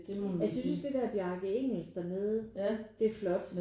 Jeg synes også det der Bjarke Ingels dernede det er flot